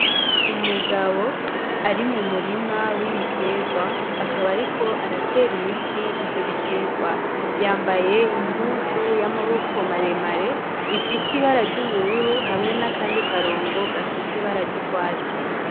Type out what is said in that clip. Umugabo ari mu murima w'ibiterwa akaba ari ko aratera imiti ivyo biterwa yambaye impuzu y'amaboko maremare ifise ibara ry'ubururu hamwe n'akandi karongo gafise ibara ry'ugwatsi.